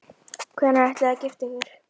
Hvenær ætlið þið að gifta ykkur?